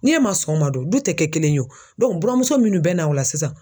N'e ma sɔn o ma dun, du tɛ kɛ kelen ye buramuso minnu bɛna o la sisan